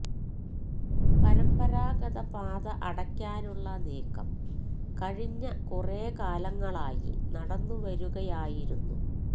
പരമ്പരാഗത പാത അടയ്ക്കാനുള്ള നീക്കം കഴിഞ്ഞ കുറേ കാലങ്ങളായി നടന്നുവരുകയായിരുന്നു